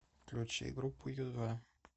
включи группу ю два